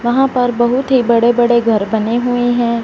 वहां पर बहुत ही बड़े बड़े घर बने हुए हैं।